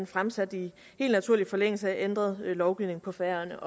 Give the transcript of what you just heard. fremsat i helt naturlig forlængelse af ændret lovgivning på færøerne